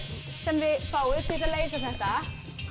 sem þið fáið til þess að leysa þetta